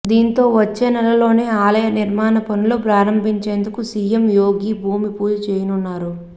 దీంతో వచ్చేనెలలోనే ఆలయ నిర్మాణ పనులు ప్రారంభించేందుకు సీఎం యోగి భూమి పూజ చేయనున్నారు